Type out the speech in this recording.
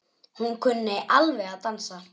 Hún kunni alveg að dansa.